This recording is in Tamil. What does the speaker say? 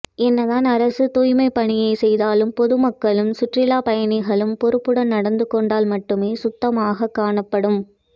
என்னதான் அரசு தூய்மைப்பணியை செய்தாலும் பொதுமக்களும் சுற்றுலா பயணிகளும் பொருப்புடன் நடந்து கொண்டால் மட்டுமே சுத்தமாக காணப்படும்